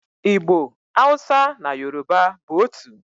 Igbo, Hausa na Yoruba bụ otu.